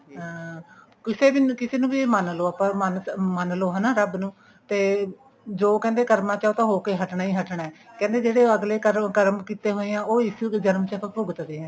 ਹਮ ਕਿਸੇ ਨੂੰ ਵੀ ਮੰਨਲੋ ਆਪਾਂ ਮੰਨਲੋ ਹਨਾ ਰੱਬ ਨੂੰ ਤੇ ਜੋ ਕਹਿੰਦੇ ਕਰਮਾ ਚ ਹੈ ਉਹ ਤਾਂ ਹੋ ਕੇ ਹੀ ਹਟਣਾ ਕਹਿੰਦੇ ਜਿਹੜੇ ਅਗਲੇ ਕਰੋ ਕਰਮ ਕਿਤੇ ਹੋਏ ਹਾਂ ਉਹ ਇਸ ਜਮਨ ਚ ਭੁਗਤ ਦੇ ਹਾਂ